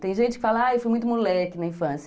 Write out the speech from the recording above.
Tem gente que fala, ah, eu fui muito moleque na infância.